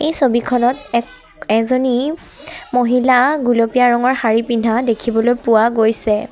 ছবিখনত এক এজনী মহিলা গুলপীয়া ৰঙৰ শাৰী পিন্ধা দেখিবলৈ পোৱা গৈছে।